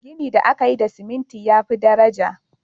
Gini da aka yi da ciminti ya fi daraja.